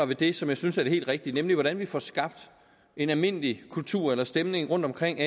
ved det som jeg synes er det helt rigtige nemlig hvordan vi får skabt en almindelig kultur eller stemning rundtomkring